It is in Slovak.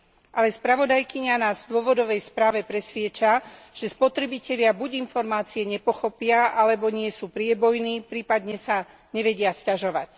Ale spravodajkyňa nás v dôvodovej správe presviedča, že spotrebitelia buď informácie nepochopia, alebo nie sú priebojní, prípadne sa nevedia sťažovať.